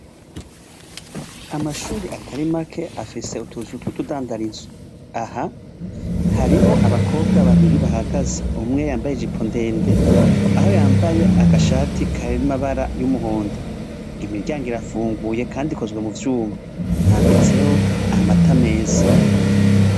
Amashure atari make afise utuzu tw'utudandarizo, aha hariho abakobwa babiri bahagaze umwe yambaye ijipo ndende aho yambaye agashati karimwo amabara y'umuhondo, imiryango irafunguye kandi ikozwe mu vyuma, handitseho amata ameza.